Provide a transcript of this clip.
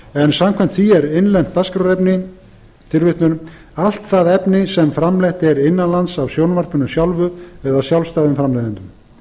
en samkvæmt því er innlent dagskrárefni allt það efni sem framleitt er innan lands af sjónvarpinu sjálfu eða sjálfstæðum framleiðendum